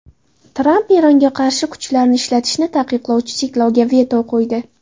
Tramp Eronga qarshi kuchlarni ishlatishni taqiqlovchi cheklovga veto qo‘ydi.